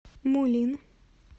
мулин